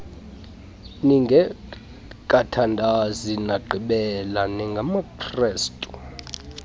ningekathandazi ndagqibela ningamakrestu